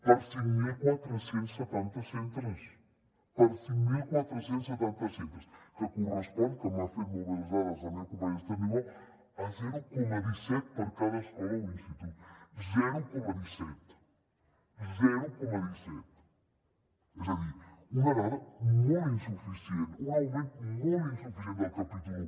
per a cinc mil quatre cents i setanta centres per a cinc mil quatre cents i setanta centres que correspon que m’ha fet molt bé les dades la meva companya esther niubó a zero coma disset per a cada escola o institut zero coma disset és a dir una dada molt insuficient un augment molt insuficient del capítol un